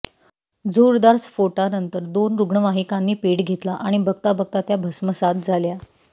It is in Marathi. जोरदार स्फोटानंतर दोन रुग्णवाहिकांनी पेट घेतला आणि बघता बघता त्या भस्मसात झाल्या